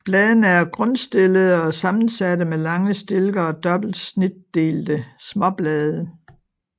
Bladene er grundstillede og sammensatte med lange stilke og dobbelt snitdelte småblade